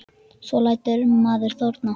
Svo lætur maður þorna.